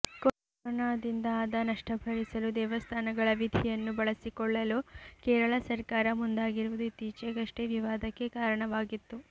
ಕೊರೋನಾದಿಂದ ಆದ ನಷ್ಟಭರಿಸಲು ದೇವಸ್ಥಾನಗಳ ನಿಧಿಯನ್ನು ಬಳಸಿಕೊಳ್ಳಲು ಕೇರಳ ಸರ್ಕಾರ ಮುಂದಾಗಿರುವುದು ಇತ್ತೀಚೆಗಷ್ಟೇ ವಿವಾದಕ್ಕೆ ಕಾರಣವಾಗಿತ್ತು